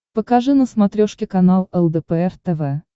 покажи на смотрешке канал лдпр тв